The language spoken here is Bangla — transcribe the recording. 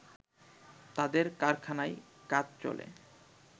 তাদের কারখানায় কাজ চলে